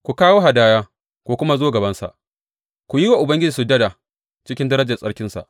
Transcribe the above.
Ku kawo hadaya ku kuma zo gabansa; ku yi wa Ubangiji sujada cikin darajar tsarkinsa.